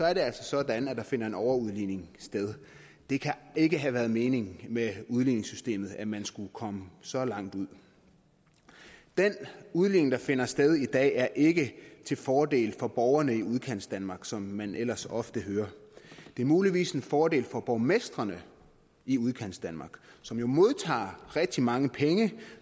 er det altså sådan at der finder en overudligning sted det kan ikke have været meningen med udligningssystemet at man skulle komme så langt ud den udligning der finder sted i dag er ikke til fordel for borgerne i udkantsdanmark som man ellers ofte hører det er muligvis en fordel for borgmestrene i udkantsdanmark som jo modtager rigtig mange penge